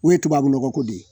U ye tubabu nɔgɔ ko de ye